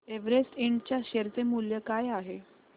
Everest Ind च्या share चे मूल्य काय आहे